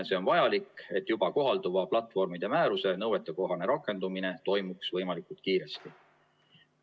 See on vajalik, et juba kohalduva platvormide määruse nõuetekohane rakendumine toimuks võimalikult kiiresti.